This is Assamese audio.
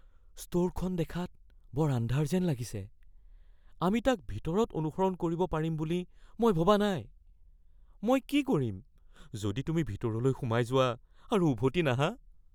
ষ্ট'ৰখন দেখাত বৰ আন্ধাৰ যেন লাগিছে। আমি তাক ভিতৰত অনুসৰণ কৰিব পাৰিম বুলি মই ভবা নাই। মই কি কৰিম যদি তুমি ভিতৰলৈ সোমাই যোৱা আৰু উভতি নাহা?